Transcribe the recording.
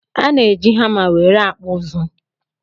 Ana eji hama nwere akpụ ụzụ